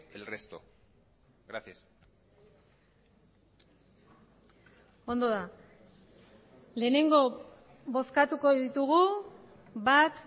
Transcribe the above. el resto gracias ondo da lehenengo bozkatuko ditugu bat